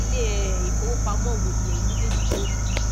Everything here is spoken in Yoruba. ile um ìfowòpamo wo ni ẹyin mejeeji yoo lo